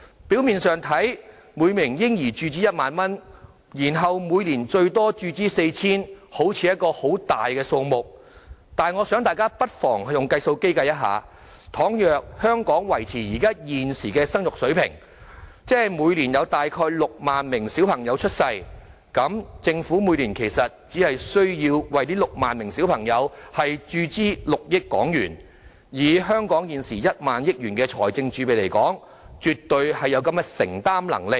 表面看來，每名嬰兒注資1萬元，然後每年最多注資 4,000 元，好像是一筆大數目，但大家不妨用計算機計算一下，倘若香港維持現時的生育水平，即每年有大約6萬名嬰兒出生，政府每年其實只需要為這6萬名嬰兒注資6億港元，以香港現時1萬億元的財政儲備，絕對有承擔能力。